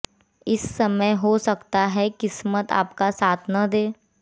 इस समय हो सकता है किस्मत आपका साथ न दे